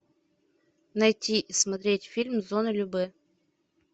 найти и смотреть фильм зона любэ